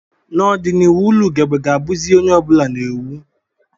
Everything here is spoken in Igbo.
N'ọdịnihu ụlọ ugegbe ga-abụzi ihe onye ọ bụla na-ewu